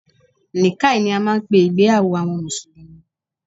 Nikkah ni a máà ń pé ìgbéyàwó àwọn mùsùlùmí.